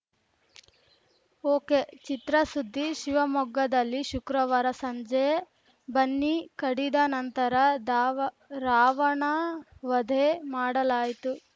ಒಕೆಚಿತ್ರಸುದ್ದಿ ಶಿವಮೊಗ್ಗದಲ್ಲಿ ಶುಕ್ರವಾರ ಸಂಜೆ ಬನ್ನಿ ಕಡಿದ ನಂತರ ದಾವ ರಾವಣಾ ವಧೆ ಮಾಡಲಾಯಿತು